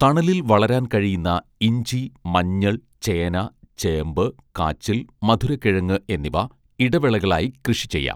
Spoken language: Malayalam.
തണലിൽ വളരാൻ കഴിയുന്ന ഇഞ്ചി മഞ്ഞൾ ചേന ചേമ്പ് കാച്ചിൽ മധുരക്കിഴങ്ങ് എന്നിവ ഇടവിളകളായി കൃഷി ചെയ്യാം